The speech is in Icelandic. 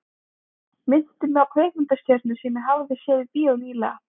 Minnti mig á kvikmyndastjörnu sem ég hafði séð í bíó ný- lega.